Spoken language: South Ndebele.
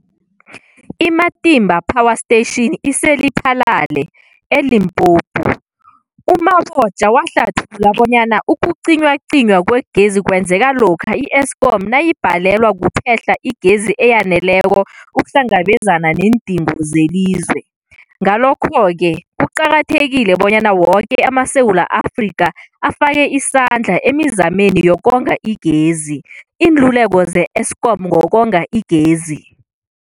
I-Matimba Power Station ise-Lephalale, eLimpopo. U-Mabotja wahlathulula bonyana ukucinywacinywa kwegezi kwenzeka lokha i-Eskom nayibhalelwa kuphe-hla igezi eyaneleko ukuhlangabezana neendingo zelizwe. Ngalokho-ke kuqakathekile bonyana woke amaSewula Afrika afake isandla emizameni yokonga igezi. Iinluleko ze-Eskom ngokonga igezi.